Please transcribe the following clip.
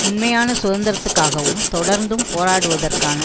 உண்மையான சுதந்திரத்துக்காவும் தொடர்ந்தும் போராடுவதற்கான